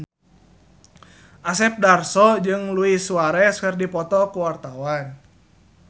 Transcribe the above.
Asep Darso jeung Luis Suarez keur dipoto ku wartawan